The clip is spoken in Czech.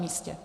místě.